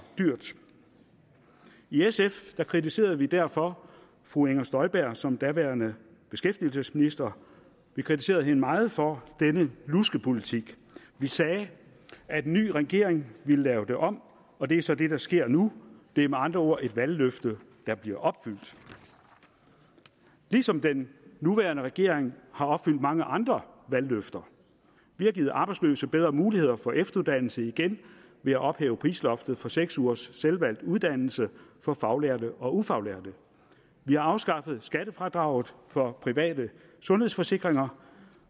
dyrt i sf kritiserede vi derfor fru inger støjberg som daværende beskæftigelsesminister vi kritiserede hende meget for denne luskepolitik vi sagde at en ny regering ville lave det om og det er så det der sker nu det er med andre ord et valgløfte der bliver opfyldt ligesom den nuværende regering har opfyldt mange andre valgløfter vi har givet arbejdsløse bedre muligheder for efteruddannelse igen ved at ophæve prisloftet på seks ugers selvvalgt uddannelse for faglærte og ufaglærte vi har afskaffet skattefradraget for private sundhedsforsikringer